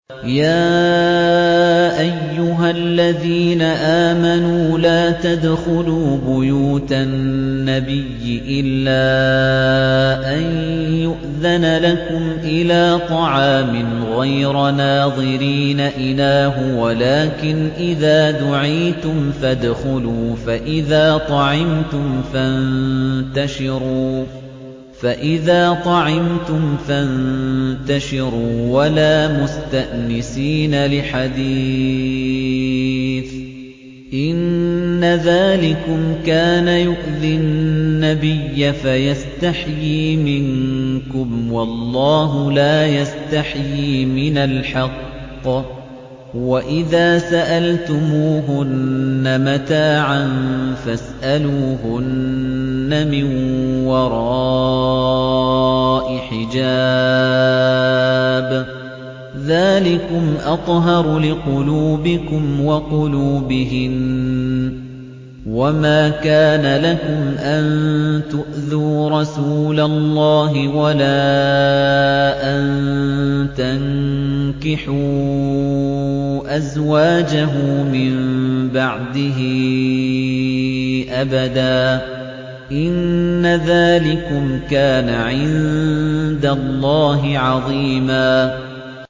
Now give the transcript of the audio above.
يَا أَيُّهَا الَّذِينَ آمَنُوا لَا تَدْخُلُوا بُيُوتَ النَّبِيِّ إِلَّا أَن يُؤْذَنَ لَكُمْ إِلَىٰ طَعَامٍ غَيْرَ نَاظِرِينَ إِنَاهُ وَلَٰكِنْ إِذَا دُعِيتُمْ فَادْخُلُوا فَإِذَا طَعِمْتُمْ فَانتَشِرُوا وَلَا مُسْتَأْنِسِينَ لِحَدِيثٍ ۚ إِنَّ ذَٰلِكُمْ كَانَ يُؤْذِي النَّبِيَّ فَيَسْتَحْيِي مِنكُمْ ۖ وَاللَّهُ لَا يَسْتَحْيِي مِنَ الْحَقِّ ۚ وَإِذَا سَأَلْتُمُوهُنَّ مَتَاعًا فَاسْأَلُوهُنَّ مِن وَرَاءِ حِجَابٍ ۚ ذَٰلِكُمْ أَطْهَرُ لِقُلُوبِكُمْ وَقُلُوبِهِنَّ ۚ وَمَا كَانَ لَكُمْ أَن تُؤْذُوا رَسُولَ اللَّهِ وَلَا أَن تَنكِحُوا أَزْوَاجَهُ مِن بَعْدِهِ أَبَدًا ۚ إِنَّ ذَٰلِكُمْ كَانَ عِندَ اللَّهِ عَظِيمًا